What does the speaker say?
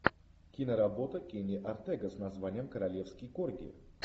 киноработа кенни ортега с названием королевский корги